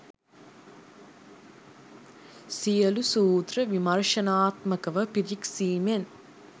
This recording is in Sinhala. සියලු සූත්‍ර විමර්ශනාත්මකව පිරික්සීමෙන්